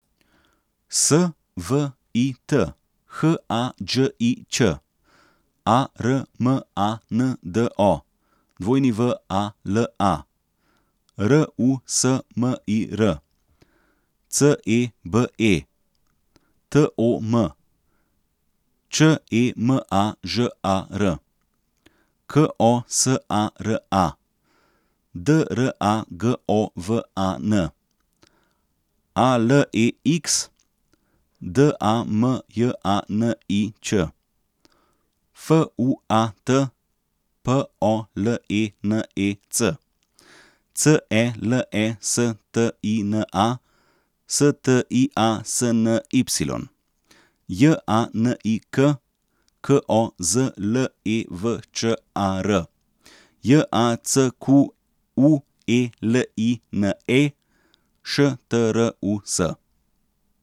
S V I T, H A Đ I Ć; A R M A N D O, W A L A; R U S M I R, C E B E; T O M, Č E M A Ž A R; K O S A R A, D R A G O V A N; A L E X, D A M J A N I Ć; F U A T, P O L E N E C; C E L E S T I N A, S T I A S N Y; J A N I K, K O Z L E V Č A R; J A C Q U E L I N E, Š T R U S.